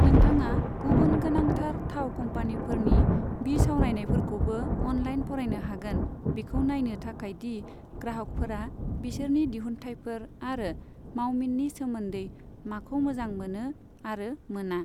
नोंथाङा गुबुन गोनांथार थाव कम्पानिफोरनि बिसावरायनायफोरखौबो अनलाइन फरायनो हागोन बेखौ नायनो थाखाय दि ग्राहकफोरा बिसोरनि दिहुनथाइफोर आरो मावमिननि सोमोन्दै माखौ मोजां मोनो आरो मोना।